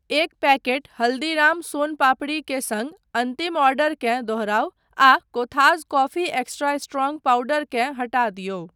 एक पैकेट हल्दीराम्स सोन पापड़ी के सङ्ग अन्तिम ऑर्डरकेँ दोहराउ आ Kothas coffee extra strong powder केँ हटा दियौ।